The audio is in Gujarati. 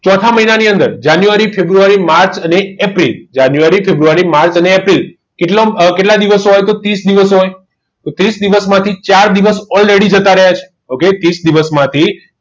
તો ચોથા મહિનાની અંદર જાન્યુઆરી ફેબ્રુઆરી માર્ચ અને એપ્રિલ જાન્યુઆરી ફેબ્રુઆરી માર્ચ અને એપ્રિલ કેટલા દિવસ હોય તો ત્રીસ દિવસ હોય તો ત્રીસ દિવસ માટે ચાર દિવસ already ok ત્રીસ દિવસમાંથી